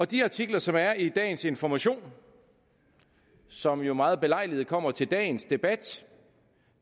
de artikler som er i dagens information og som jo meget belejligt kommer til dagens debat